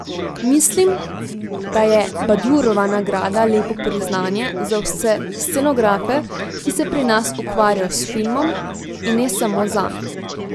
Mislim, da je Badjurova nagrada lepo priznanje za vse scenografe, ki se pri nas ukvarjajo s filmom, in ne samo zame.